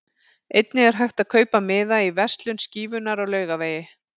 Einnig er hægt að kaupa miða í verslun Skífunnar á Laugavegi.